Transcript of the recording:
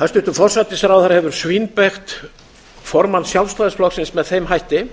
hæstvirtur forsætisráðherra hefur svínbeygt formann sjálfstæðisflokksins með þeim hætti